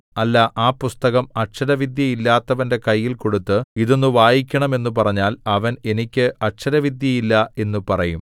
അല്ല ആ പുസ്തകം അക്ഷരവിദ്യയില്ലാത്തവന്റെ കയ്യിൽ കൊടുത്ത് ഇതൊന്നു വായിക്കണം എന്നു പറഞ്ഞാൽ അവൻ എനിക്ക് അക്ഷര വിദ്യയില്ല എന്നു പറയും